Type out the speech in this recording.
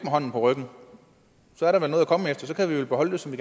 hånden på ryggen så er der vel noget at komme efter så kan vi vel beholde det som